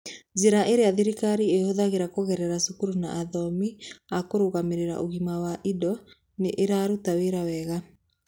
Njĩra iria thirikari ĩhũthagĩra kũgerera cukuru na athomi a kũrũgamĩrĩra ũgima wa indo nĩ iraruta wĩra wega.